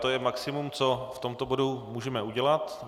To je maximum, co v tomto bodu můžeme udělat.